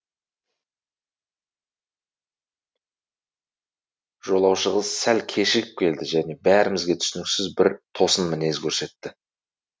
жолаушы қыз сәл кешігіп келді және бәрімізге түсініксіз бір тосын мінез көрсетті